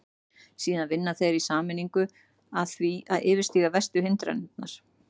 Síðan vinna þeir í sameiningu að því að yfirstíga verstu hindranirnar.